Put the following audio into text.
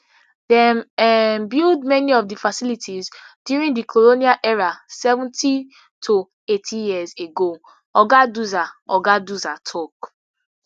dem um build many of di facilities during di colonial era seventy to eighty years ago oga duza oga duza tok